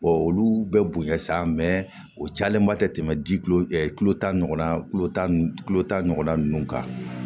olu bɛ bonya sa o cayalenba tɛ ji ta ɲɔgɔnna kulo tan tulo tan ɲɔgɔnna ninnu kan